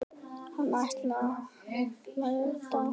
Hann hlær dátt.